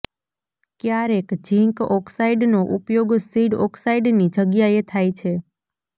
ક્યારેક ઝીંક ઓક્સાઇડનો ઉપયોગ સીડ ઓક્સાઇડની જગ્યાએ થાય છે